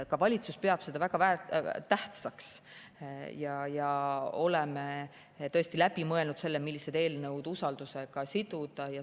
Ka valitsus peab seda väga tähtsaks ja me oleme tõesti läbi mõelnud, millised eelnõud usaldusega siduda.